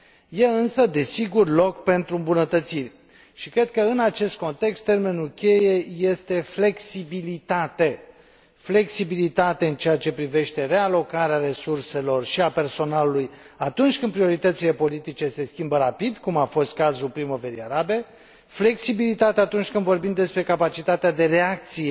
Există, însă, desigur, loc pentru îmbunătățiri și cred că, în acest context, termenul cheie este flexibilitatea flexibilitate în ceea ce privește realocarea resurselor și a personalului, atunci când prioritățile politice se schimbă rapid, cum a fost cazul Primăverii arabe flexibilitate atunci când vorbim despre capacitatea de reacție